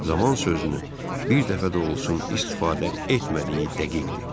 Zaman sözünü bir dəfə də olsun istifadə etmədiyi dəqiqdir.